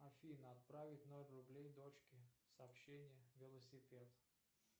афина отправить ноль рублей дочке сообщение велосипед